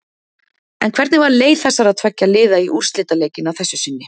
En hvernig var leið þessara tveggja liða í úrslitaleikinn að þessu sinni?